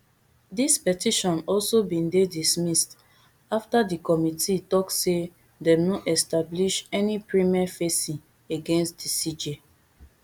dis petition also bin dey dismissed afta di committee tok say dem no establish any prima facie against di cj